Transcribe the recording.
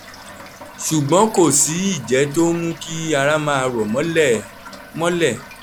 ṣùgbọ́n kò sí ìjẹ́ tó ń mú kí ara máa rọ̀ mọ́lẹ̀ mọ́lẹ̀